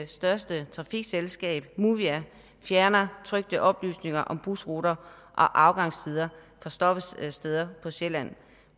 største trafikselskab movia fjerner trykte oplysninger om busruter og afgangstider på stoppesteder på sjælland